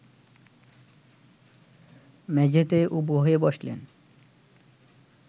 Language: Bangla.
মেঝেতে উবু হয়ে বসলেন